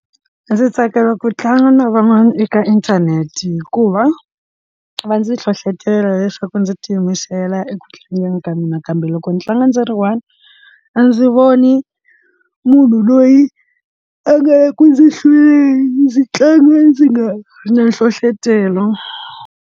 Ndzi tsakela ku tlanga na van'wana eka inthanete hikuva va ndzi hlohlotelo leswaku ndzi tiyimisela eku tlangeni ka mina kambe loko ndzi tlanga ndzi ri one a ndzi voni munhu loyi a nge ku ndzi hlwele ndzi tlanga ndzi nga ri na nhlohlotelo.